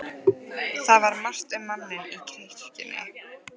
Það var margt um manninn í kirkjunni.